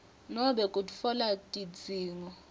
nobe kutfola tidzingo